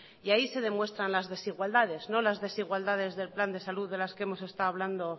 y ahí se demuestra las desigualdades no las desigualdades del plan de salud de las que hemos estado hablando